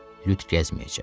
Lüt gəzməyəcək.